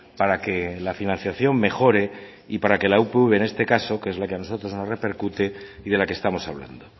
para que la financiación mejore y para que la upv en este caso que es lo que a nosotros nos repercute y de la que estamos hablando